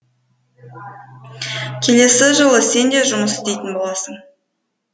келесі жылы сен де жұмыс істейтін боласың